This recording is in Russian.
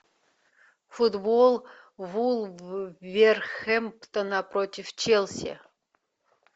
футбол вулверхэмптона против челси